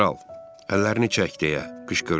Kral, əllərini çək deyə qışqırdı.